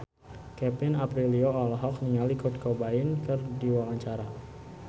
Kevin Aprilio olohok ningali Kurt Cobain keur diwawancara